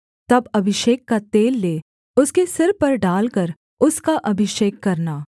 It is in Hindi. तब अभिषेक का तेल ले उसके सिर पर डालकर उसका अभिषेक करना